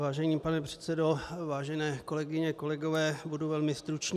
Vážený pane předsedo, vážené kolegyně, kolegové, budu velmi stručný.